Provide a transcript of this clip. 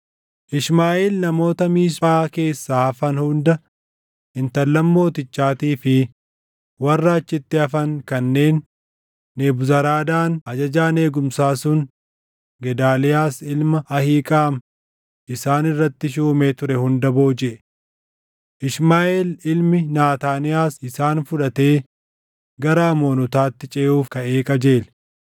Ishmaaʼeel namoota Miisphaa keessaa hafan hunda intallan mootichaatii fi warra achitti hafan kanneen Nebuzaradaan ajajaan eegumsaa sun Gedaaliyaas ilma Ahiiqaam isaan irratti shuumee ture hunda boojiʼe. Ishmaaʼeel ilmi Naataaniyaas isaan fudhatee gara Amoonotaatti ceʼuuf kaʼee qajeele.